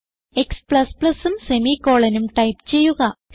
x ഉം semicolonഉം type ചെയ്യുക